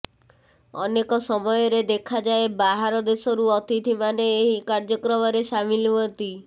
ଅନେକ ସମୟରେ ଦେଖାଯାଏ ବାହାର ଦେଶରୁ ଅତିଥି ମାନେ ଏହି କାର୍ଯ୍ୟକ୍ରମରେ ସାମିଲ ହୁଅନ୍ତି